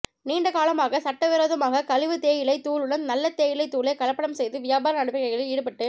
நீண்ட காலமாக சட்டவிரோதமாக கழிவு தேயிலை தூளுடன் நல்ல தேயிலை தூளை கலப்படம் செய்து வியாபார நடவடிக்கையில் ஈடுப்பட்டு